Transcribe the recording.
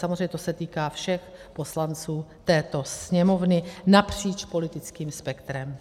Samozřejmě to se týká všech poslanců této Sněmovny napříč politickým spektrem.